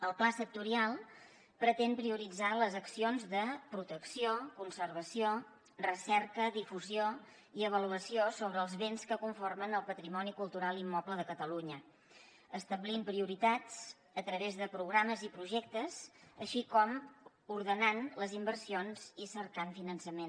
el pla sectorial pretén prioritzar les accions de protecció conservació recerca difusió i avaluació sobre els béns que conformen el patrimoni cultural immoble de catalunya i estableix prioritats a través de programes i projectes així com ordenant les inversions i cercant finançament